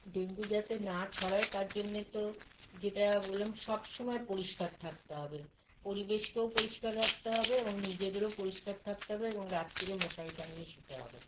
dengue যাতে না ছড়ায় তারজন্যে তো যেটা বললাম সবসময় পরিস্কার থাকতে হবে পরিবেশকে ও পরিস্কার রাখতে হবে এবং নিজেদের ও পরিস্কার থাকতে হবে এবং রাত্তিরে মশারি টাঙ্গিয়ে শুতে হবে